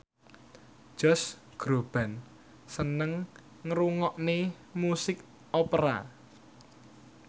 Josh Groban seneng ngrungokne musik opera